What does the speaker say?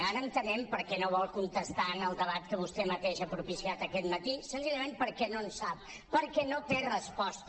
ara entenem per què no vol contestar en el debat que vostè mateix ha propiciat aquest matí senzillament perquè no en sap perquè no té resposta